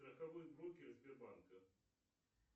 страховой брокер сбербанка